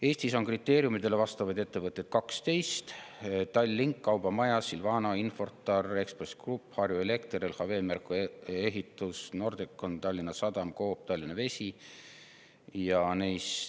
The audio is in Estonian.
Eestis on kriteeriumidele vastavaid ettevõtteid 12: Tallink, Kaubamaja, Silvano, Infortar, Ekspress Grupp, Harju Elekter, LHV, Merko Ehitus, Nordecon, Tallinna Sadam, Coop ja Tallinna Vesi.